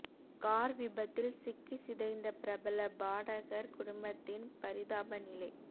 car விபத்தில் சிக்கி சிதைந்த பிரபல பாடகர் குடும்பத்தின் பரிதாப நிலை